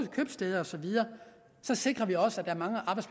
købstæder og så videre sikrer vi også at der